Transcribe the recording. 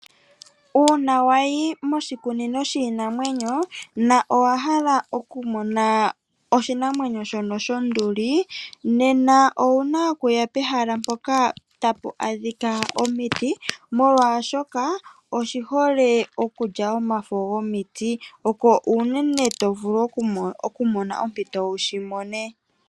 Uuna wayi moshikunino shono shiinamwenyo nowa hala okumona oshinamwenyo shono shonduli, nena owuna okuya pehala mpoka tapu adhika omiti molwashoka oshihole okulya omafo gomiti opo unene tovulu okumona ompito wushi mone.